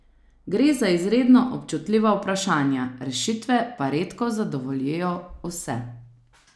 Gre za izredno občutljiva vprašanja, rešitve pa redko zadovoljijo vse.